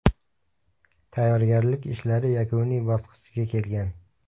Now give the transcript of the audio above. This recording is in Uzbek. Tayyorgarlik ishlari yakuniy bosqichga kelgan.